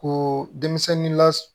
Ko denmisɛnnin la